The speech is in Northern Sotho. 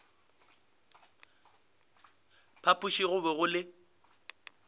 phapoši go be go le